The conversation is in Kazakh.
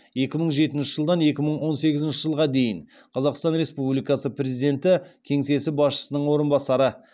екі мың жетінші жылдан екі мың он сегізінші жылға дейін қазақстан республикасы президенті кеңсесі басшысының орынбасары